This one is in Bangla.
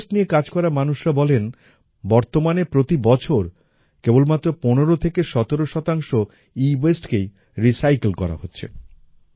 এওয়াসতে নিয়ে কাজ করা মানুষরা বলেন বর্তমানে প্রতি বছর কেবলমাত্র পনেরো থেকে সতেরো শতাংশ এওয়াসতে কেই রিসাইকেল করা হচ্ছে